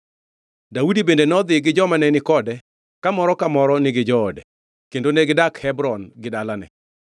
Daudi bende nodhi gi joma ne ni kode ka moro ka moro nigi joode, kendo negidak Hebron gi dalane.